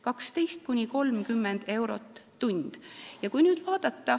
12–30 eurot tund.